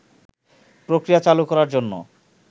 প্রক্রিয়া চালু করার জন্য